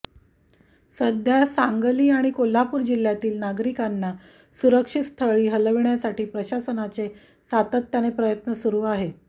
सध्या सांगली आणि कोल्हापूर जिल्ह्यातील नागरिकांना सुरक्षित स्थळी हलविण्यासाठी प्रशासनाचे सातत्याने प्रयत्न सुरु आहेत